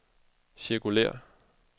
cirkulér